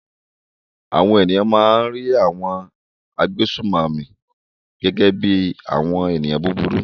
Àwọn ènìyàn máa ń rí àwọn agbésùnmòmí gẹ́gẹ́ bí i àwọn ènìyàn búburú.